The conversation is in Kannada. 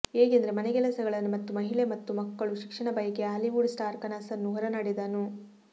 ಏಕೆಂದರೆ ಮನೆಕೆಲಸಗಳನ್ನು ಮತ್ತು ಮಹಿಳೆ ಮಕ್ಕಳು ಶಿಕ್ಷಣ ಬಯಕೆಯ ಹಾಲಿವುಡ್ ಸ್ಟಾರ್ ಕನಸನ್ನು ಹೊರನಡೆದನು